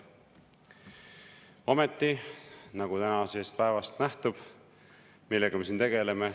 " Ometi, nagu tänasest päevast nähtub, millega me siin tegeleme?